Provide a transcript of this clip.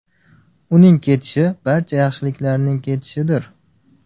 Uning ketishi barcha yaxshiliklarning ketishidir.